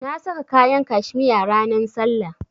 Na sa kayan cashmere ranan sallah.